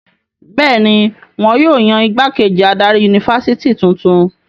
Bẹ́ẹ̀ ni, wọn yóò yan ìgbákejì adarí yunifásitì tuntun.